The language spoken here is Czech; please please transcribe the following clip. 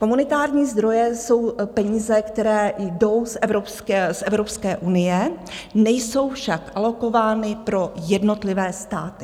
Komunitární zdroje jsou peníze, které jdou z Evropské unie, nejsou však alokovány pro jednotlivé státy.